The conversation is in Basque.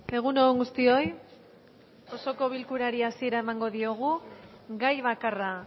egun on guztioi osoko bilkurari hasiera emango diogu gai bakarra